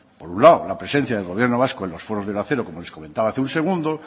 por un lado la presencia del gobierno vasco en los foros del acero como les comentaba hace un segundo